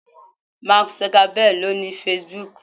Mark Zuckerberg ni o ni Facebook